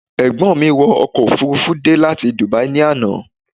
Ẹ̀gbọ́n mi wọ ọkọ̀ òfururufú dé láti Dubai ní àná